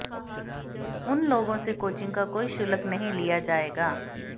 उन लोगों से कोचिंग का कोई शुल्क नहीं लिया जाएगा